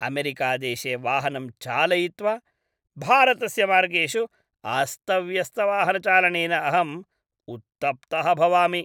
अमेरिकादेशे वाहनं चालयित्वा, भारतस्य मार्गेषु अस्तव्यस्तवाहनचालनेन अहम् उत्तप्तः भवामि।